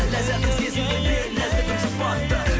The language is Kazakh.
ләззәтті сезінгендей нәзікгім жұбатты